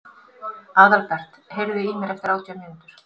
Aðalbert, heyrðu í mér eftir átján mínútur.